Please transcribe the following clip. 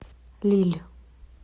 лилль